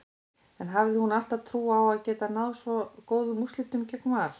En hafði hún alltaf trú á að geta náð svo góðum úrslitum gegn Val?